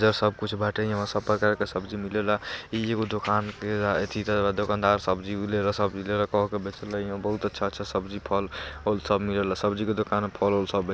इधर सब कुछ बाटे इहो सब प्रकार के सब्जी मिलेला इ एगो दुकान के अथी त दोकानदर सब्जी भी ले रहा यहां बहुत अच्छा-अच्छा सब्जी फल सब मिलेला सब्जी के दुकान में फल उल सब --